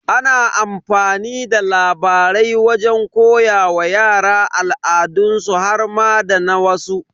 Ana amfani da labarai wajen koya wa yara al'adansu har ma da na wasu.